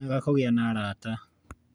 nĩ wega kũgĩa na arata